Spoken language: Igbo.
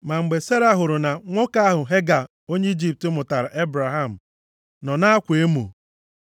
Ma mgbe Sera hụrụ na nwa nwoke ahụ Hega onye Ijipt mụtaara Ebraham nọ na-akwa emo,